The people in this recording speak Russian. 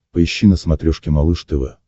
поищи на смотрешке малыш тв